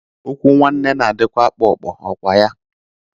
Okwu nwanne na-adịkwa kpo kpo, ọkwaya?